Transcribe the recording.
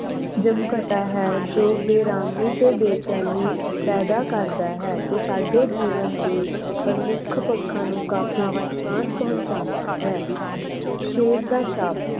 ਜਮਘਟਾ ਹੈ ਜੋ ਬੇਰਾਮੀ ਤੇ ਬੇਚੈਨੀ ਪੈਦਾ ਕਰਦਾ ਹੈ ਤੇ ਸਾਡੇ ਜੀਵਨ ਦੇ ਵਿਚ ਪ੍ਰਮੁਖ ਪੱਖਾਂ ਨੂੰ ਕਾਫੀ ਨੁਕਸਾਨ ਪਹੁੰਚਾਉਂਦਾ ਹੈ। ਸ਼ੇਪ ਦਾ ਸ਼ਾਪ